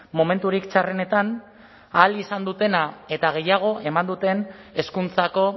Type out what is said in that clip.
momenturik txarrenetan ahal izan dutena eta gehiago eman duten hezkuntzako